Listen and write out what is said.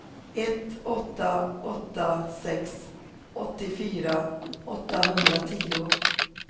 ett åtta åtta sex åttiofyra åttahundratio